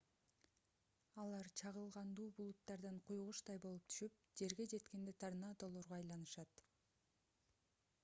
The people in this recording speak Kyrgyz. алар чагылгандуу булуттардан куйгучтай болуп түшүп жерге жеткенде торнадолорго айланышат